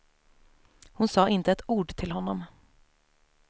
Hon sa inte ett ord till honom.